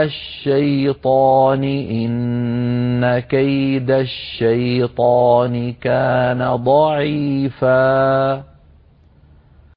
الشَّيْطَانِ ۖ إِنَّ كَيْدَ الشَّيْطَانِ كَانَ ضَعِيفًا